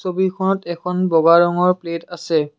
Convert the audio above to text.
ছবিখনত এখন বগা ৰঙৰ প্লেট আছে।